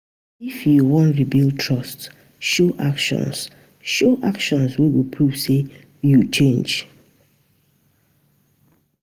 If yu wan rebuild trust, show actions show actions wey go prove say yu change.